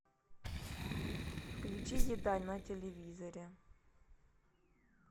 включи еда на телевизоре